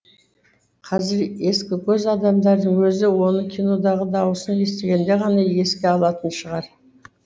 қазір ескікөз адамдардың өзі оны кинодағы дауысын естігенде ғана еске алатын шығар